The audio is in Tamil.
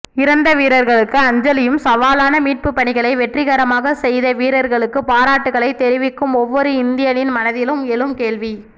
இறந்த வீரர்களுக்கு அஞ்சலியும் சவாலான மீட்புபணிகளை வெற்றிகரமாகச் செய்த வீரர்களுக்குப் பாரட்டுகளை தெரிவிக்கும் ஒவ்வொரு இந்தியனின் மனத்தில் எழும் கேள்வி